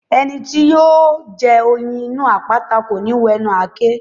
Ẹni tí yóò jẹ oyin inú àpáta kò ní wẹnu àáké.